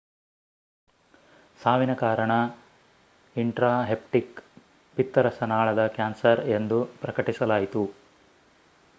ಸಾವಿನ ಕಾರಣ ಇನ್ಟ್ರಾಹೆಪ್ಟಿಕ್ ಪಿತ್ತರಸನಾಳದ ಕ್ಯಾನ್ಸರ್ ಎಂದು ಪ್ರಕಟಿಸಲಾಯಿತು